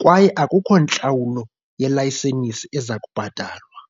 kwaye akukho ntlawulo yelayisenisi ezakubhatalwa.